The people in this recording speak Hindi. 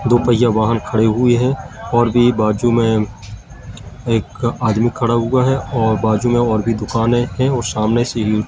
दो पहिया वाहन खड़े हुए हैं और भी बाजू में एक आदमी खड़ा हुआ है और बाजू में और भी दुकान हैं और सामने से--